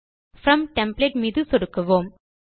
from template மீது சொடுக்குவோம்